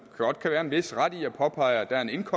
godt kan være en vis ret i at påpege at der er en